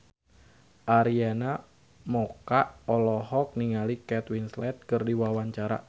Arina Mocca olohok ningali Kate Winslet keur diwawancara